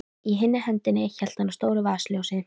Í hinni hendinni hélt hann á stóru vasaljósi.